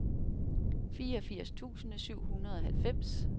fireogfirs tusind syv hundrede og halvfems